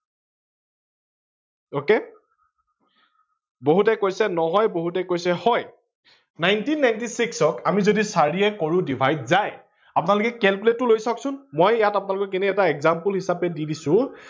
ok বহুতে কৈছে নহয় বহুতে কৈছে হয়, nineteen ninety six ত আমি যদি চাৰিয়ে কৰো divide যায়, আপোনালোকে calculate লৈ চাওক চোন, মই ইয়াত আপোনালোকক এনেই এটা example হিচাপে দি দিছো